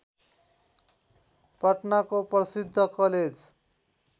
पटनाको प्रसिद्ध कलेज